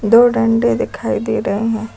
दो डंडे दिखाई दे रहे हैं।